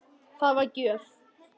Það var gjöf.